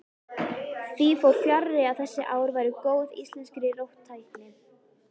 Því fór fjarri að þessi ár væru góð íslenskri róttækni.